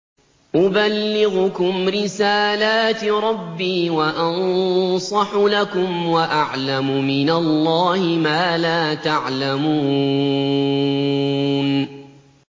أُبَلِّغُكُمْ رِسَالَاتِ رَبِّي وَأَنصَحُ لَكُمْ وَأَعْلَمُ مِنَ اللَّهِ مَا لَا تَعْلَمُونَ